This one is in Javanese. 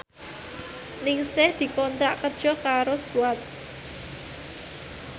Ningsih dikontrak kerja karo Swatch